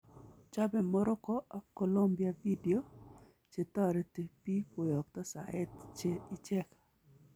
Chobe Morroco ak Colombia video che tareti biik koyakto saet che icheek